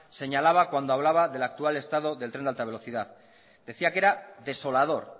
señalaba cuando hablaba de la actual estado del tren de alta velocidad decía que era desolador